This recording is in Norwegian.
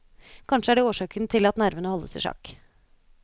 Kanskje er det årsaken til at nervene holdes i sjakk.